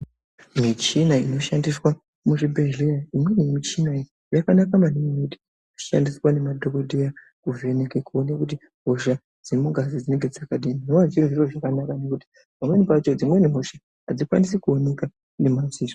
Michina inoshandiswa muzvibhedhleya imweni michina iyi yakanaka maningi ngekuti inoshandiswa ngemadhokoteya kuvheneke kuona kuti hosha dzemungazi dzinenge dzakadini. Tinoona zviri zviro zvakanaka ngekuti dzimweni hosha adzikwanisi kuoneka ngemadziso.